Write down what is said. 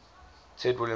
ted williams tunnel